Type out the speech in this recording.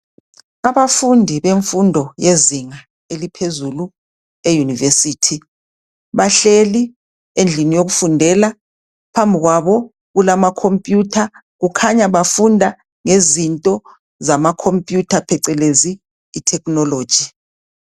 Abafundi bemfundo yezinga eliphezulu eYunivesithi bahleli endlini yokufundela phambi kwabo kulamacomputer kukhanya bafunda ngezinto zamacomputer phecelezi ithekhinoloji.